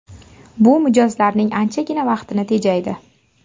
Bu mijozlarning anchagina vaqtini tejaydi.